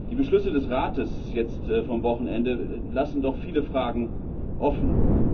Die Beschlüsse des Rates vom Wochenende lassen doch viele Fragen offen.